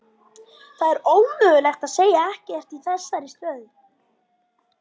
Það er ómögulegt að segja ekkert í þessari stöðu.